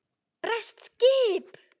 Bresk skip!